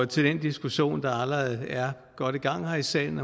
til den diskussion der allerede er godt i gang her i salen